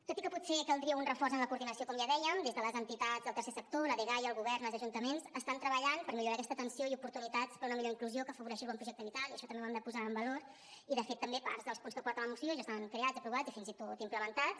tot i que potser caldria un reforç en la coordinació com ja dèiem des de les entitats del tercer sector la dgaia el govern i els ajuntaments estan treballant per millorar aquesta atenció i oportunitats per una millor inclusió que afavoreixi el bon projecte vital i això també ho hem de posar en valor i de fet també part dels punts que porta la moció ja estan creats aprovats i fins i tot implementats